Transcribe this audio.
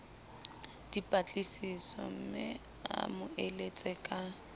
dipatlisisomme a mo eletse ka